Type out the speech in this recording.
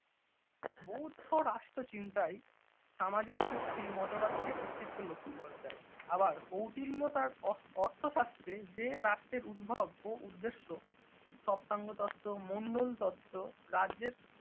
বৌধ্য রাষ্ট্রচিন্তায় সামাজিক চুক্তি মতবাদকে অস্তিত্ব লক্ষ্য করা যায়, আবার কৌটিল্য তার অর্থশাস্ত্রের যে রাষ্ট্রের উদ্ভব ও উদ্দেশ্য সপ্তাঙ্গ তত্ত্ব মঙ্গল তত্ত্ব রাজ্যের